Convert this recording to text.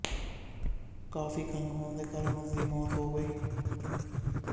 ਕਾਫ਼ੀ ਖੰਘ ਹੋਣ ਦੇ ਕਾਰਨ ਉਸ ਦੀ ਮੌਤ ਹੋ ਗਈ